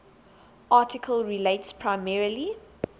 article relates primarily